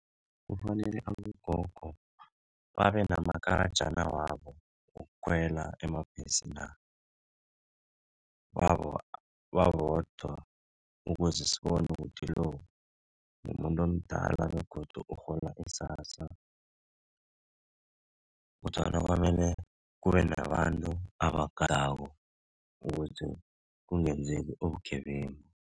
Kufanele abogogo babe namakarajana wabo wokukhwela emabhesina wabo babodwa ukuze sibone ukuthi lo mumuntu omdala begodu urhola i-SASSA kodwana kwamele kube nabantu abagadako ukuze kungenzeki ubugebengu.